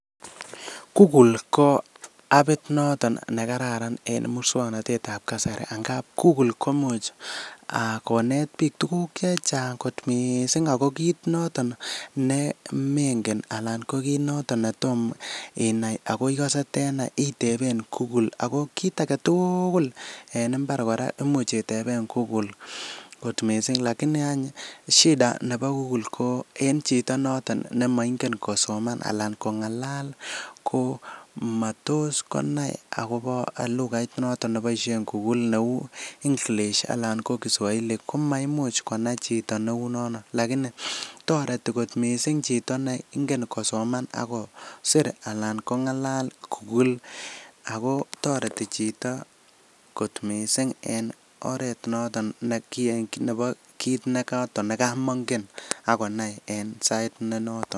Kukul ko apit noton nekararan en musoknotetab kasari angap kukul komuch konet biik tuguk chechang' kot missing' ago kit noton nemengen anan ko kit noton netom inai ako ikose tenai iteben kukul. Ago kit agetukul en mbar kora imuch iteben kukul kot missing'. Lakini any shida nebo kukul ko en chito nemoingen kosoman ala kong'alal ko motos konai agobo lukait noton neboisien kukul neu english ala ko kiswahili komaimuch konai chito neu nono. Lakini toreti kot missing' chito neingen kosoman ak kosir alan kong'alal kukul ago toreti chito kotmissing' en oret noton nebo kioton kamongen ak konai en sait nenoton.